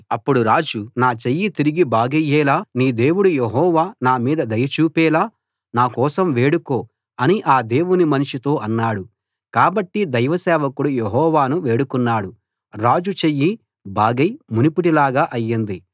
అప్పుడు రాజు నా చెయ్యి తిరిగి బాగయ్యేలా నీ దేవుడు యెహోవా నా మీద దయ చూపేలా నా కోసం వేడుకో అని ఆ దేవుని మనిషితో అన్నాడు కాబట్టి దైవ సేవకుడు యెహోవాను వేడుకున్నాడు రాజు చెయ్యి బాగై మునుపటి లాగా అయింది